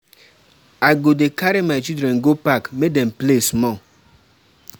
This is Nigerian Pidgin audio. I go dey carry my children go park make dem play small.